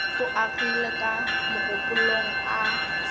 o agile ka mogopolong a